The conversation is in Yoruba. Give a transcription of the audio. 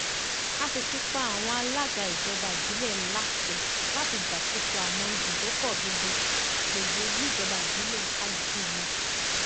a sì ti pa àwọn alága ìjọba ìbílẹ láṣẹ láti gbàkóso àwọn ibùdókọ gbogbo gbogbo níjọba ìbílẹ kálukú wọn